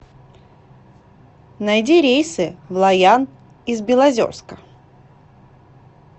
найди рейсы в лайян из белозерска